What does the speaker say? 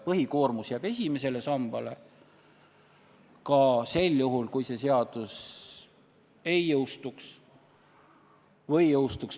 Põhikoormus jääb ikka esimesele sambale – ka sel juhul, kui see seadus ei jõustu.